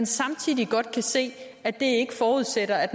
samtidig godt kan se at det ikke forudsætter at